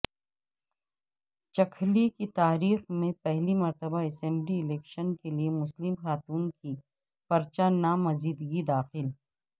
چکھلی کی تاریخ میں پہلی مرتبہ اسمبلی الیکشن کیلئے مسلم خاتون کی پرچہ نامزدگی داخل